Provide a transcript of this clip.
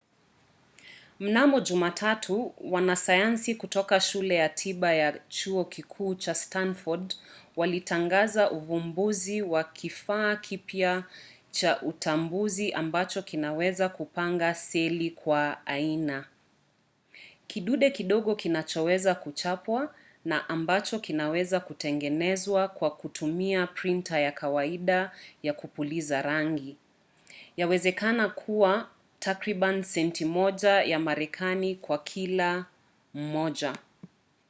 mnamo jumatatu wanasayansi kutoka shule ya tiba ya chuo kikuu cha stanford walitangaza uvumbuzi wa kifaa kipya cha utambuzi ambacho kinaweza kupanga seli kwa aina: kidude kidogo kinachoweza kuchapwa na ambacho kinaweza kutengenezwa kwa kutumia printa ya kawaida ya kupuliza rangi yawezekana kwa takribani senti moja ya marekani kwa kila moja